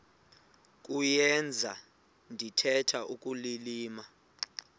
kuyenza ndithetha ukulilima